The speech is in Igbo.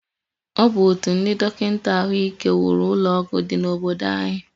Ọ bụ otu ndị dọkịta ahụike wuru ụlọọgwụ dị n'obodo anyi